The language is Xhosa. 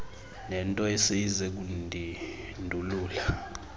nento eseyize kundindulula